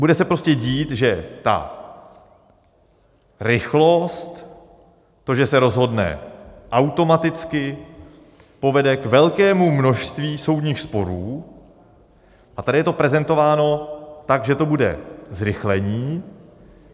Bude se prostě dít, že ta rychlost, to, že se rozhodne automaticky, povede k velkému množství soudních sporů, a tady je to prezentováno tak, že to bude zrychlení.